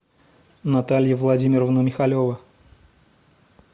наталья владимировна михалева